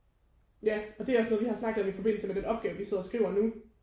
Ja og det er også noget vi har snakket om i forbindelse med den opgave vi sidder og skriver nu